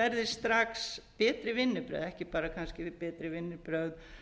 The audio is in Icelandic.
verði strax betri vinnubrögð ekki bara kannski við betri vinnubrögð